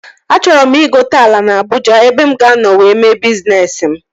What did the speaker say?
Achọrọ m ịgote ala na Abụja ebe mụ ga-anọ wee mee bizness m